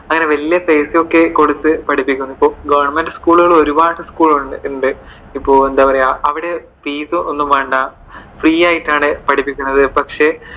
അങ്ങനെ വലിയ fees ഒക്കെ കൊടുത്തു പഠിപ്പിക്കുന്നു. ഇപ്പോ government school കൾ ഒരുപാട് school ഉണ്ട്. ഇപ്പോ എന്താ പറയുവാ അവിടെ fees ഒന്നും വേണ്ട. free ആയിട്ടാണ് പഠിപ്പിക്കുന്നത്. പക്ഷെ